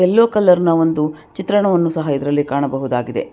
ಎಲ್ಲೋ colour ನ ಒಂದು ಚಿತ್ರಣವನ್ನು ಸಹ ಇದರಲ್ಲಿ ಕಾಣಬಹುದಾಗಿದೆ.